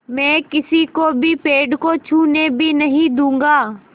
मैं किसी को भी पेड़ को छूने भी नहीं दूँगा